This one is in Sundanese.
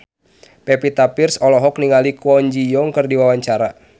Pevita Pearce olohok ningali Kwon Ji Yong keur diwawancara